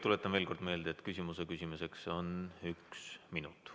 Tuletan veel kord meelde, et küsimuse küsimiseks on üks minut.